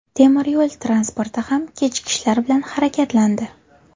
Temir yo‘l transporti ham kechikishlar bilan harakatlandi.